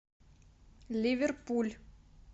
ливерпуль